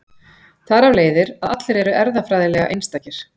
Þar af leiðir að allir eru erfðafræðilega einstakir.